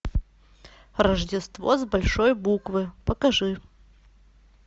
рождество с большой буквы покажи